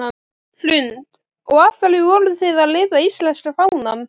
Hrund: Og af hverju voruð þið að lita íslenska fánann?